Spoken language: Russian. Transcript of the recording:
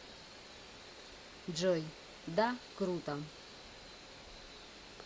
джой да круто